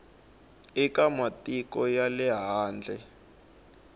eka matiko ya le handle